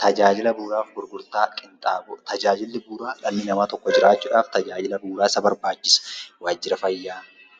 Tajaajila bu'uuraafi gurgurtaa qinxaaboo tajaajilli bu'uuraa Dhalli namaa tokko jiraachuudhaaf tajaajila bu'uuraa isa barbaachisa. Waajira fayyaa,